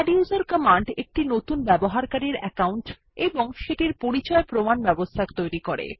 আদ্দুসের command একটি নতুন ব্যবহারকারীর অ্যাকউন্ট এবং সেটির পরিচয় প্রমাণ ব্যবস্থা তৈরী করে